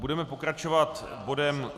Budeme pokračovat bodem